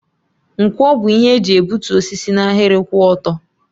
Nkwọ bụ ihe eji egbutu osisi n'ahịrị kwụ ọtọ.